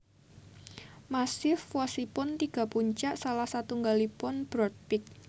Massif wosipun tiga puncak salah satunggalipun Broad Peak